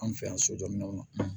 An fɛ yan sojɔ minɛnw na